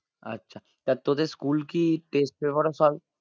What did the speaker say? আচ্ছা তা তোদের school কি test paper ও solve